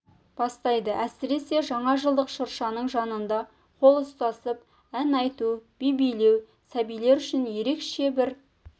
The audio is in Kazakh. бастайды әсіресе жаңажылдық шыршаның жанында қол ұстасып ән айту би билеу сәбилер үшін ерекше бір